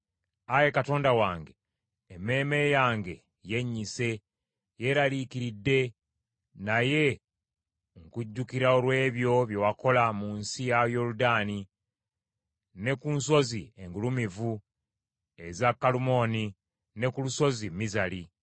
Ayi Katonda wange, emmeeme yange yennyise, yeeraliikiridde; naye nkujjukira olw’ebyo bye wakola mu nsi ya Yoludaani ne ku nsozi engulumivu eza Kalumooni ne ku Lusozi Mizali.